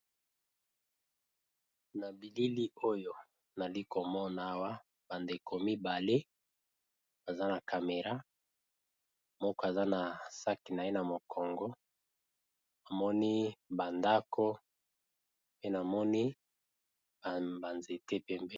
Na bilili oyo nali komona wa ba ndeko mibale baza na camera, moko aza na sac naye na mokongo namoni ba ndako pe na moni ba nzete pembeni.